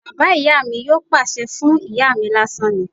Bàbá ìyá mi yóò pàṣẹ fún ìyá mi lásán ni